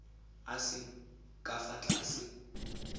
a seng ka fa tlase